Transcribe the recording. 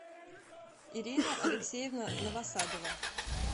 ирина алексеевна новосадова